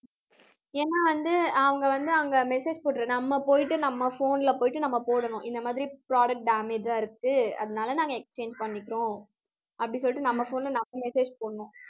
ஏன்னா வந்து அவங்க வந்து அங்க message நம்ம போயிட்டு நம்ம phone ல போயிட்டு நம்ம போடணும் இந்த மாதிரி product damage ஆ இருக்கு அதனால நாங்க exchange பண்ணிக்கிறோம் அப்படி சொல்லிட்டு நம்ம phone ல நம்ம message போடணும்